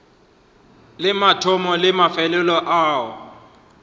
le mathomo le mafelelo a